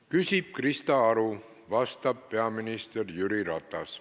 Küsib Krista Aru, vastab peaminister Jüri Ratas.